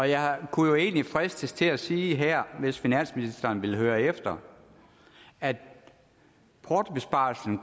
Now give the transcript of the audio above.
jeg kunne egentlig fristes til at sige her hvis finansministeren vil høre efter at portobesparelsen